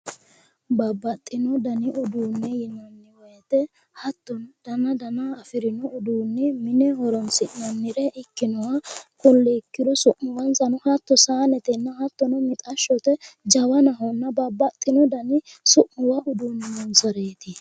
Babbaxxino dani uduunne yinanni woyite hattono dana dana afirino uduunne mine horoonsi'nanni ikkinoha kulli ikkiro hatto su'muwwansa sayinete hattono mixashshote jawanahonna babbaxxino dani su'mi noonsareeti.